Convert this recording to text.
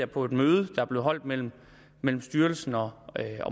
på et møde der blev holdt mellem mellem styrelsen og